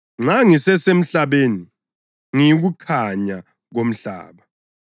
Nxa ngisesemhlabeni, ngiyikukhanya komhlaba.”